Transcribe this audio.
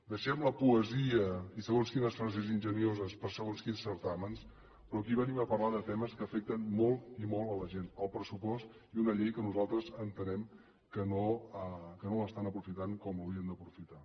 deixem la poesia i segons quines frases enginyoses per a segons quins certàmens però aquí venim a parlar de temes que afecten molt i molt la gent el pressupost i una llei que nosaltres entenem que no l’estan aprofitant com l’haurien d’aprofitar